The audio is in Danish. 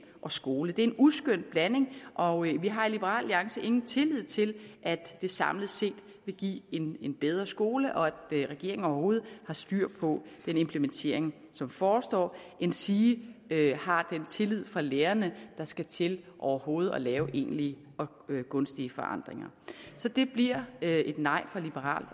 og skole det er en uskøn blanding og vi har i liberal alliance ingen tillid til at det samlet set vil give en bedre skole og at regeringen overhovedet har styr på den implementering som forestår endsige har den tillid fra lærerne der skal til overhovedet at lave egentlige og gunstige forandringer så det bliver et nej fra liberal